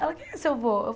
Ela, quem é seu vô?